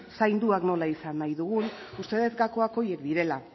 zainduak nola izan nahi dugun uste dut gakoak horiek direla